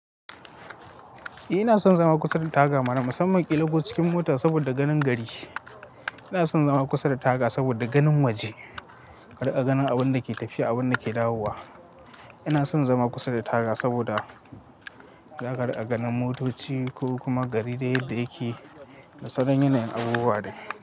Eh ina son zama kusa da taga mana, musamman ƙila ko cikin mota saboda ganin gari. Ina son zama kusa da taga saboda ganin waje, ka riƙa ganin abin da ke tafiya, abin da ke dawowa. Ina son zama kusa da taga saboda za ka riƙa ganin motoci ko kuma gari yadda yake da saura yanayin abubuwa ne.